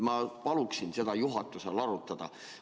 Ma paluksin seda juhatusel arutada.